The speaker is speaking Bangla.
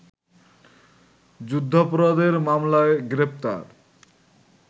যুদ্ধাপরাধের মামলায় গ্রেপ্তার